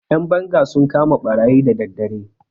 Ƴan banga sun kama ɓarayi da daddare.